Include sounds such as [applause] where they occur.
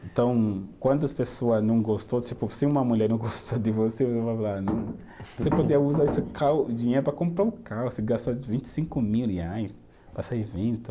Então, quando as pessoa não gostou, tipo, se uma mulher não gostou de você, você. [unintelligible] Você podia usar esse tal dinheiro para comprar um carro, você gasta vinte e vi mil reais para esse evento.